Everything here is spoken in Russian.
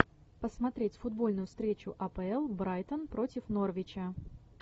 посмотреть футбольную встречу апл брайтон против норвича